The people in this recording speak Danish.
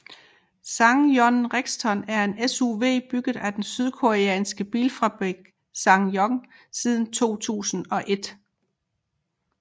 SsangYong Rexton er en SUV bygget af den sydkoreanske bilfabrikant SsangYong siden 2001